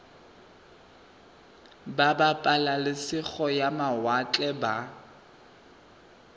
ba pabalesego ya mawatle ba